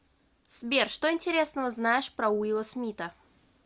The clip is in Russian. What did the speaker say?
сбер что интересного знаешь про уилла смита